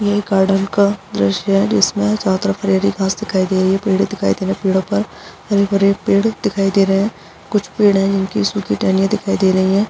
ये गार्डन का दृश्य है जिसमें चारो तरफ हरी-हरी घास दिखाई दे रही है पेड़ दिखाई दे रहे हैं पेड़ों पर हरे-भरे पेड़ दिखाई दे रहे हैं कुछ पेड़ है जिनकी सुखी टहनियाँ दिखाई दे रही हैं।